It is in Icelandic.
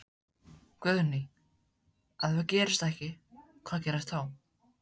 Guðný: Ef það gerist ekki, hvað gerist þá?